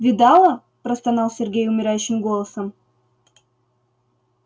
видала простонал сергей умирающим голосом